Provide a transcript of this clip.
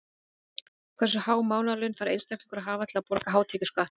Hversu há mánaðarlaun þarf einstaklingur að hafa til að borga hátekjuskatt?